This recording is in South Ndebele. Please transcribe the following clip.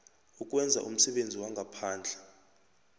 ukwenza umsebenzi wangaphandle